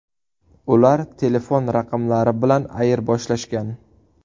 Ular telefon raqamlari bilan ayirboshlashgan.